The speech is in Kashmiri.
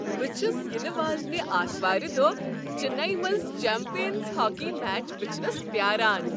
بہٕ چھس ینہٕ واجنہِ اتھوارِ دۄہ چنیی منٛز چمپینز ہاكی میچ وچھنس پیاران ۔